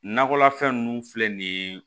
Nakɔlafɛn ninnu filɛ nin ye